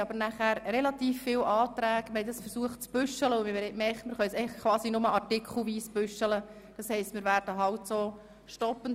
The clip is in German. Es liegen aber auch ziemlich viele Anträge vor, und wir haben diese zu ordnen versucht.